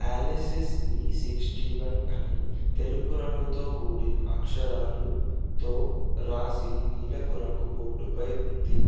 Alesis V sixty one అని తెలుపు రంగుతో కూడిన అక్షరాలు తో రాసి నీలపు రంగు బోర్డుపై ఉంది.